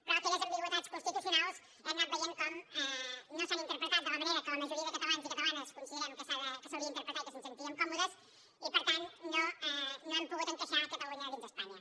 però aquelles ambigüitats constitucionals hem anat veient com no s’han interpretat de la manera que la majoria de catalans i catalanes considerem que s’haurien d’interpretar i que ens hi sentiríem còmodes i per tant no hem pogut encaixar catalunya dins d’espanya